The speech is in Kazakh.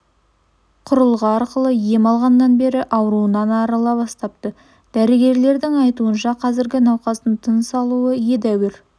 құрылғы арқылы ем алғаннан бері ауруынан арыла бастапты дәрігерлердің айтуынша қазір науқастың тыныс алуы едәуір